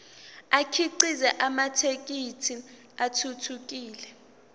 akhiqize amathekisthi athuthukile